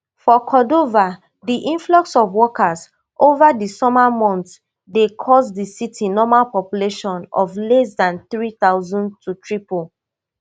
for cordova di influx of workers over di summer months dey cause di city normal population of less dan three thousand to triple